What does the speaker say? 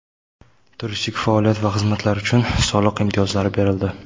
Turistik faoliyat va xizmatlar uchun soliq imtiyozlari berildi.